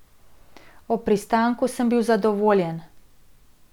Ob pristanku sem bil zadovoljen.